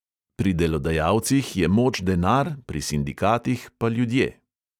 Pri delodajalcih je moč denar, pri sindikatih pa ljudje.